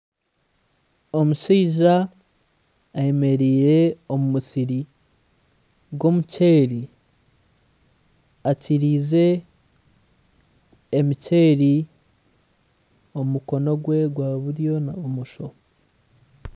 Omushaija eyemereire omu musiri gw'omuceeri akiiriize emiceeri omu mukono gwe gwa buryo na bumosho